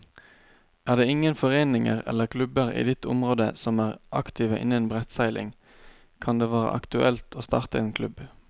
Er det ingen foreninger eller klubber i ditt område som er aktive innen brettseiling, kan det være aktuelt å starte en klubb.